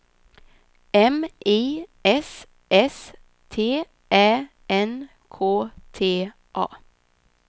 M I S S T Ä N K T A